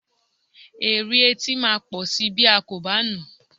Èérí etí máa pọ̀ si bí a kò bá nù ú.